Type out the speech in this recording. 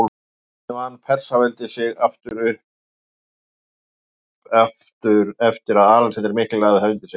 Hvernig vann Persaveldi sig upp aftur eftir að Alexander mikli lagði það undir sig?